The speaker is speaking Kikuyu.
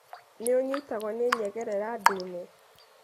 Nĩ ũnyitagwo nĩ nyengerera ndune.